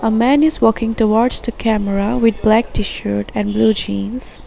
A man is walking towards the camera with black tshirt and blue jeans.